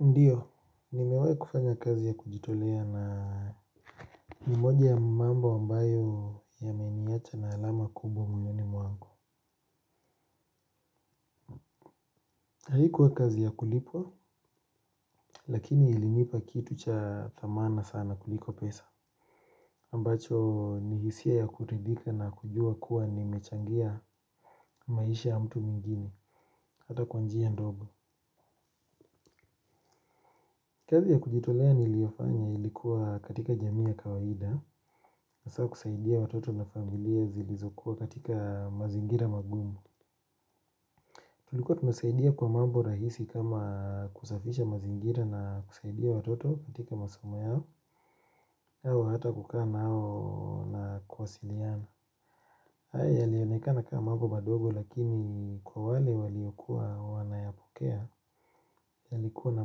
Ndiyo, nimewahi kufanya kazi ya kujitolea na ni moja ya mambo ambayo yameniacha na alama kubwa moyoni mwangu. Haikuwa kazi ya kulipwa, lakini ilinipa kitu cha thamana sana kuliko pesa. Ambacho ni hisia ya kuridhika na kujua kuwa nimechangia maisha ya mtu mwigine hata kwa njia ndogo. Kazi ya kujitolea niliyofanya ilikuwa katika jamii ya kawaida hasaa kusaidia watoto na familia zilizokuwa katika mazingira magumu. Tulikuwa tunasaidia kwa mambo rahisi kama kusafisha mazingira na kusaidia watoto katika masomo yao, yao hata kukaaa nao na kuwasiliana. Haya yalionekana kama mambo madogo lakini kwa wale waliokuwa wanayapokea yalikuwa na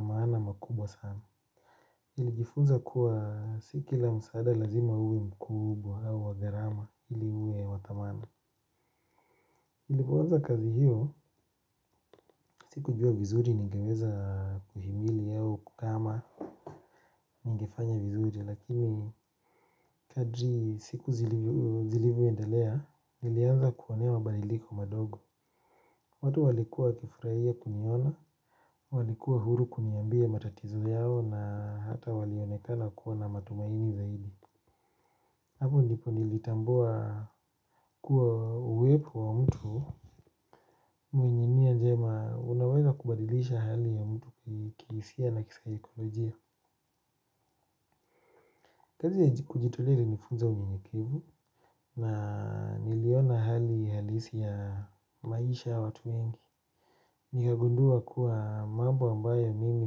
maana makubwa sana. Nilijifunza kuwa si kila msaada lazima uwe mkubwa au wa gharama ili uwe wa thamana nilipo anza kazi hiyo sikujua vizuri ningeweza kuhimili au kukaa ama ningefanya vizuri lakini kadri siku zilivyoendelea nilianza kuona mabaliliko madogo. Watu walikuwa wakifurahia kuniona. Walikuwa huru kuniambia matatizo yao na hata walionekana kuwa na matumaini zaidi. Hapo ndipo nilitambua kuwa uwepo wa mtu mwenye nia njema unaweza kubadilisha hali ya mtu kihisia na kisaikolojia. Kazi ya kujitolea ilinifunza unyenyekevu na niliona hali halisi ya maisha ya watu wengi. Nikagundua kuwa mambo ambayo mimi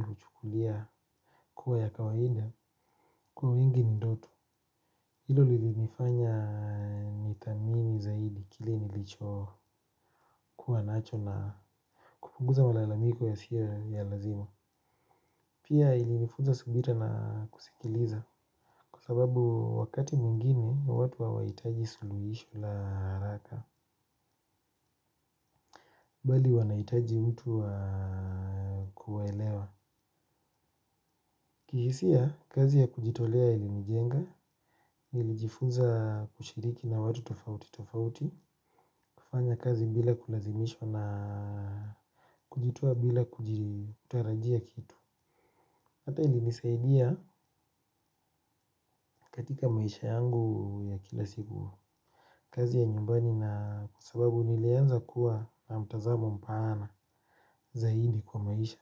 huchukulia kuwa ya kawaida kwa wengi ni ndoto hilo lilinifanya nithamini zaidi kile nilicho kuwa nacho na kupunguza malalamiko yasiyo ya lazima. Pia ilinifuza subira na kusikiliza kwa sababu wakati mwingine watu hawaitaji suluhisho la haraka bali wanahitaji mtu wa kuelewa. Kihisia kazi ya kujitolea ilinijenga nilijifuza kushiriki na watu tofauti tofauti kufanya kazi bila kulazimishwa na kujitoa bila kutarajia kitu hata ilinisaidia katika maisha yangu ya kila siku. Kazi ya nyumbani na kwa sababu nilianza kuwa na mtazamo mpana zaidi kwa maisha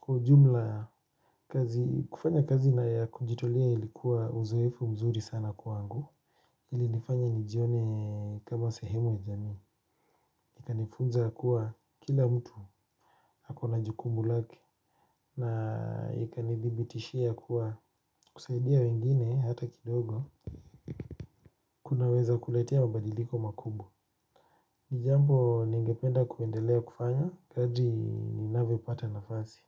kwa ujumla kazi kufanya kazi ya kujitolea ilikuwa uzoefu mzuri sana kwangu. Ilinifanya nijione kama sehemu ya jamii ikanifunza kuwa kila mtu ako na jukumu lake na ikanidhibitishia kuwa kusaidia wengine hata kidogo. Kunaweza kuletea mabadiliko makubwa. Nijambo ningependa kuendelea kufanya kadri ninavyo pata nafasi.